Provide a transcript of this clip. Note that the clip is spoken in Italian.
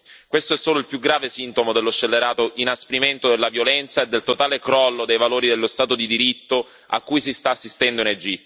Questo è solo il più grave sintomo dello scellerato inasprimento della violenza e del totale crollo dei valori dello Stato di diritto a cui si sta assistendo in Egitto.